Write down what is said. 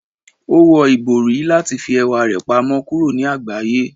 O wọ ibori lati fi ẹwa rẹ pamọ kuro ni agbaye.